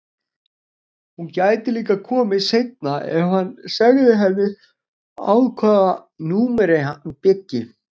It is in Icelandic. Hún gæti líka komið seinna ef hann segði henni á hvaða númeri hann byggi.